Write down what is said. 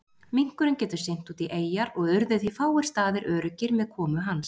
Minkurinn getur synt út í eyjar og urðu því fáir staðir öruggir með komu hans.